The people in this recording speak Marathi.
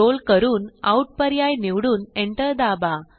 स्क्रोल करून आउट पर्याय निवडून एंटर दाबा